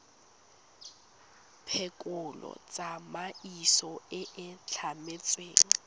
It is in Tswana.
phekolo tsamaiso e e tlametsweng